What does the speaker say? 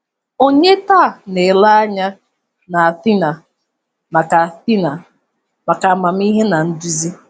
Ònye taa na-ele anya na Athena maka Athena maka amamihe na nduzi?